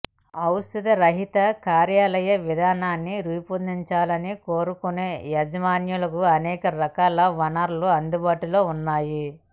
ఔషధ రహిత కార్యాలయ విధానాన్ని రూపొందించాలని కోరుకునే యజమానులకు అనేక రకాల వనరులు అందుబాటులో ఉన్నాయి